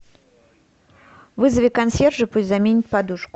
вызови консьержа пусть заменит подушку